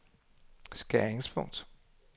skæringspunkt